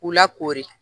K'u lakori